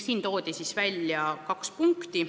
Toodi välja kaks punkti.